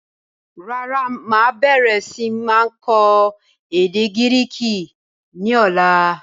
Rárá, máa bẹ̀rẹ̀ sini kọ́ èdè Gíríìkì ni ọ̀la.